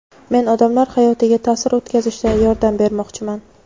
Men odamlar hayotiga ta’sir o‘tkazishda yordam bermoqchiman.